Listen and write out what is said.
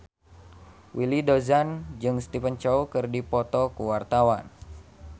Willy Dozan jeung Stephen Chow keur dipoto ku wartawan